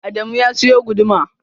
Adamu ya siyo guduma.